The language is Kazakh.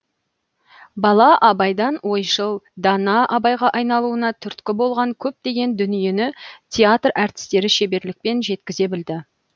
бала абайдан ойшыл дана абайға айналуына түрткі болған көптеген дүниені театр әртістері шеберлікпен жеткізе білді